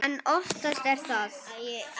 En oftast er það